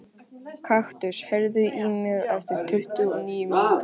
Kaktus, heyrðu í mér eftir tuttugu og níu mínútur.